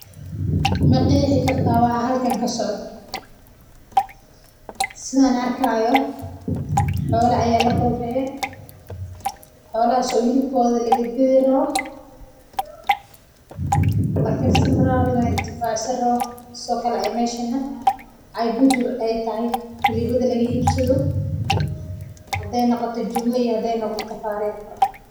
Ma qeexi kartaa waxa halkan kasocdo sidaan arki haayo xoola ayaa laqowrace xolahaas oo hilibkooda lagadi rabo la karsan rabo meesha bujur aay tahay.